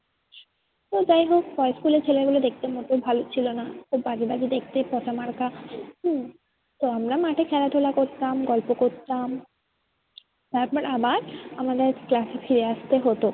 তো যাই হোক boys school এর ছেলে গুলো দেখতে মোটেও ভালো ছিল না। খুব বাজে বাজে দেখতে পচা মার্কা উম তো আমরা মাঠে খেলাধুলা করতাম গল্প করতাম তারপর আবার আমাদের class এ ফিরে আসতে হতো।